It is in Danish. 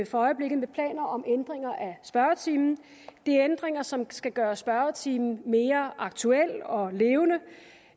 for øjeblikket med planer om ændringer af spørgetimen det er ændringer som skal gøre spørgetimen mere aktuel og levende